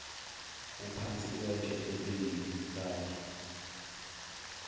uphansi kwetshe ebengikade